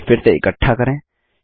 इन्हें फिर से इकट्ठा करें